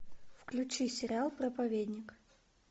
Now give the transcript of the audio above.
включи сериал проповедник